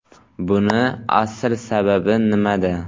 Buning asl sababi nimada?